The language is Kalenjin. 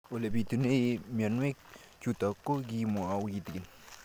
Ole pitune mionwek chutok ko kimwau kitig'�n